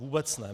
Vůbec ne.